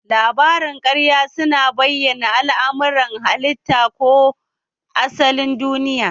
Labarin ƙarya su na bayyana al'amuran halitta ko asalin duniya